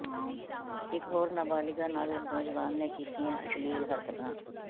ਇੱਕ ਹੋਰ ਨਾਬਾਲਿਗਾ ਨਾਲ ਨੌਜਵਾਨ ਨੇ ਕੀਤੀਆਂ ਅਸ਼ਲੀਲ ਹਰਕਤਾਂ